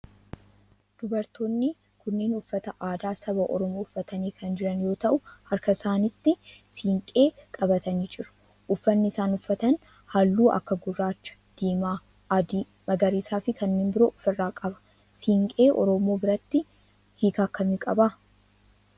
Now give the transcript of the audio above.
Dubartoonni kunneen uffata aadaa saba oromoo uffatanii kan jiran yoo ta'u harka isaanitti siinqee qabatanii jiru. Uffanni isaan uffatan halluu akka gurraacha, diimaa, adii, magariisaa fi kanneen biroo of irraa qaba. Siinqee oromoo biratti hiika akkamii qaba?